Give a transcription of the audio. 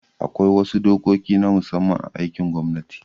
Akwai wasu dokoki na musamman a aikin gwamnati